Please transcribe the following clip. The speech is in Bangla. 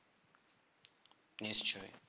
নিশ্চই